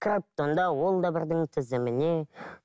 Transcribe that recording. кіріп тұр да ол да бірдің тізіміне